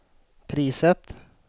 priset